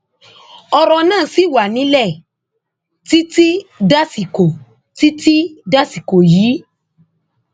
ọrọ náà ṣì wà nílẹ títí dàsìkò títí dàsìkò yìí